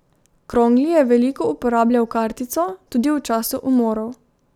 Krongli je veliko uporabljal kartico, tudi v času umorov.